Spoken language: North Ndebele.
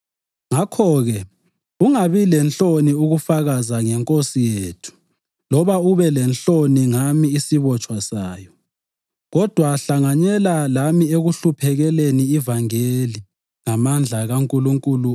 Ngakho-ke, ungabi lenhloni ukufakaza ngeNkosi yethu loba ube lenhloni ngami isibotshwa sayo. Kodwa hlanganyela lami ekuhluphekeleni ivangeli ngamandla kaNkulunkulu